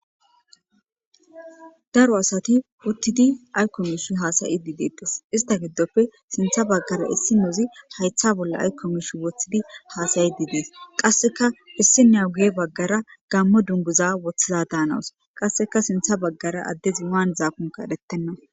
daro asati uttidi aykko mishi haasayi di deedes ista giddoppe sintha baggara issi muuzi haytha bolla aykko mish woththidi haasayi didees qasseka issi neu guye baggara gammo dunguza woththiza daanawus qasseka sintha baggara addezi waan zaakunka edhetenna